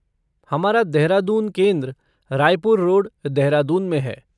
हमारा देहरादून केंद्र रायपुर रोड, देहरादून में है।